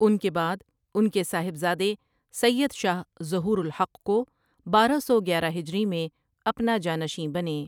ان کے بعد ان کے صاحبزادے سید شاہ ظہورالحق کو بارہ سو گیارہ ہجری میں اپنا جانشیں بنے۔